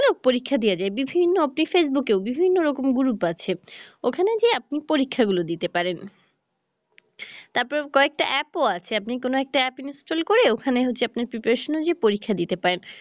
পরীক্ষা দেয়া যায় বিভিন্ন ফেসবুকেও বিভিন্ন রকম group আছে ওখানে যেয়ে আপনি পরীক্ষা গুলা দিতে পারেন তারপর কয়েকটা app ও আছে আপনি কোনো একটা app install করে ওখানে হচ্ছে আপনার preparation অনুযায়ীই পরীক্ষা দিতে পারেন